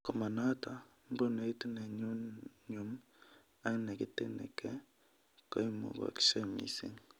Komonoto, mbunuit nenyumnyum ak neketinike koimukashek mising